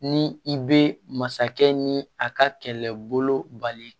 Ni i bɛ masakɛ ni a ka kɛlɛbolo bali